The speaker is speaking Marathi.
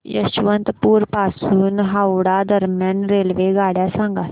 यशवंतपुर पासून हावडा दरम्यान रेल्वेगाड्या सांगा